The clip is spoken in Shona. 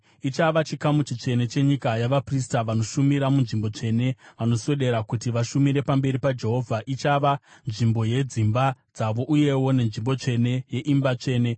Ichava chikamu chitsvene chenyika yavaprista, vanoshumira munzvimbo tsvene vanoswedera kuti vashumire pamberi paJehovha. Ichava nzvimbo yedzimba dzavo uyewo nenzvimbo tsvene yeimba tsvene.